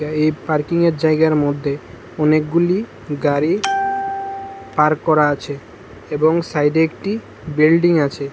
এই পার্কিংয়ের জায়গার মধ্যে অনেকগুলি গাড়ি পার্ক করা আছে এবং সাইডে একটি বিল্ডিং আছে।